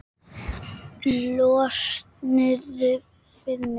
Elsa Hrund og Hilmir.